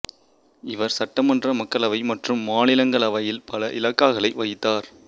இவர் சட்டமன்றம் மக்களவை மற்றும் மாநிலங்களவையில் பல இலாகாக்களை வகித்தார்